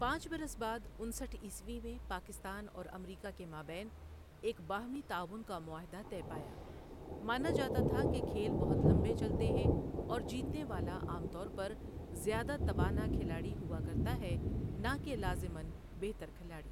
پانچ برس بعد انسٹھ عیسوی میں پاکستان اور امریکہ کے مابین ایک باہمی تعاون کا معاہدہ طے پایا مانا جاتا تھا کہ کھیل بہت لمبے چلتے ہیں اور جیتنے والا عام طور پر زیادہ توانا کھلاڑی ہوا کرتا ہے، نہ کہ لازما بہتر کھلاڑی۔